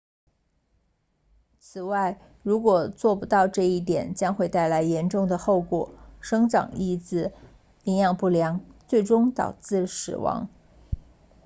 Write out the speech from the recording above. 此外如果做不到这一点将会带来严重的后果生长抑制营养不良最终导致死亡